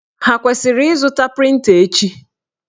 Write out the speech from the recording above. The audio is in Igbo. Ha kwesịrị ịzụta prịnta echi?